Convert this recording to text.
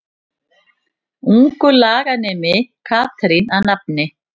Ungur laganemi Katrín að nafni.